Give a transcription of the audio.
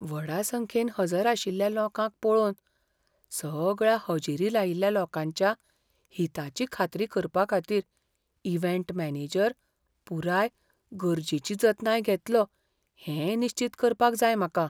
व्हडा संख्येन हजर आशिल्ल्या लोकांक पळोवन, सगळ्या हजेरी लायिल्ल्या लोकांच्या हिताची खात्री करपाखातीर इव्हेंट मॅनेजर पुराय गरजेची जतनाय घेतलो हें निश्चीत करपाक जाय म्हाका.